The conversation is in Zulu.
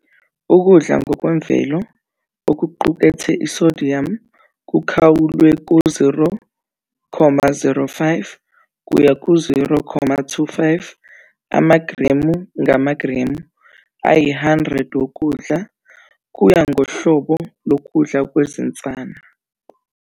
Ukudla ngokwemvelo okuqukethe i-sodium kukhawulwe ku-0.05 - 0.25 amagremu ngamagremu ayi-100 wokudla, kuya ngohlobo lokudla kwezinsana.